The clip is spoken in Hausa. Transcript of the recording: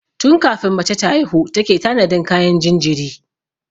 Tun kafin mace ta haihu take tanadin kayan jinjiri.